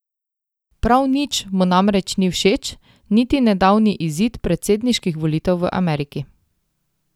Prav nič mu namreč ni všeč niti nedavni izid predsedniških volitev v Ameriki.